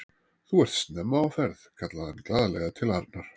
Þú ert snemma á ferð! kallaði hann glaðlega til Arnar.